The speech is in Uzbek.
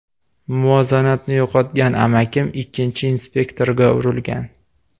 Muvozanatni yo‘qotgan amakim, ikkinchi inspektorga urilgan.